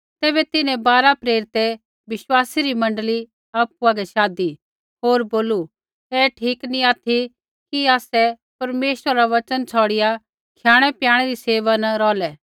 तैबै तिन्हैं बारा प्रेरितै बिश्वासी री मण्डली आपु हागै शाधी होर बोलू ऐ ठीक नी ऑथि कि आसै परमेश्वरा रा वचन छ़ौड़िआ खयाणैप्याणै री सेवा न रौहलै